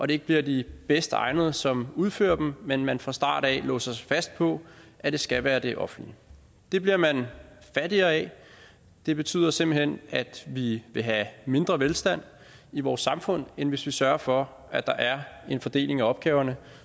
det ikke bliver de bedst egnede som udfører dem men at man fra start af låser sig fast på at det skal være det offentlige det bliver man fattigere af det betyder simpelt hen at vi vil have mindre velstand i vores samfund end hvis vi sørger for at der er en fordeling af opgaverne